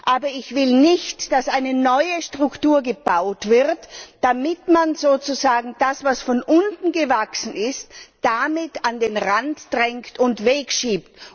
Aber ich will nicht, dass eine neue Struktur gebaut wird, damit man sozusagen das, was von unten gewachsen ist, damit an den Rand drängt und wegschiebt.